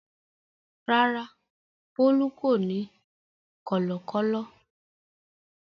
Rárá, Bólú kò ní kọ̀lọ̀kọ́lọ̀.